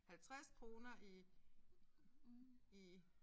50 kroner i i